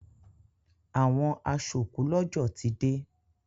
Àwọn aṣòkúlọ́jọ̀ ti dé.